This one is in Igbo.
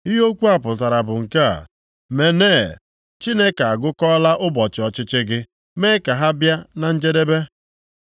“Ihe okwu ndị a pụtara bụ nke a: “Mene, Chineke agụkọọla ụbọchị ọchịchị gị, mee ka ha bịa na njedebe.